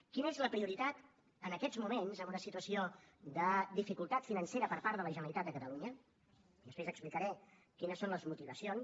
quina és la prioritat en aquests moments en una situació de dificultat financera per part de la generalitat de catalunya i després explicaré quines són les motivacions